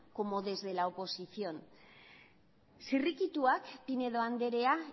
como desde la oposición zirrikituak pinedo andrea